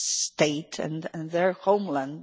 state and their homeland.